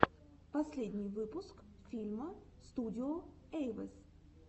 последний выпуск филма студио эйвэс